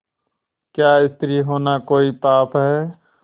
क्या स्त्री होना कोई पाप है